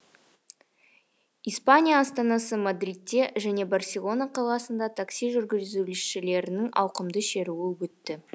испания астанасы мадридте және барселона қаласында такси жүргізушілерінің ауқымды шеруі өтті